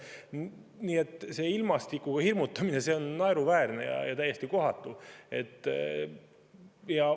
Nii et see ilmastikuga hirmutamine on naeruväärne ja täiesti kohatu.